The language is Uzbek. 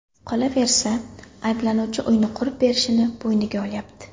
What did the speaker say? Qolaversa, ayblanuvchi uyni qurib berishini bo‘yniga olyapti.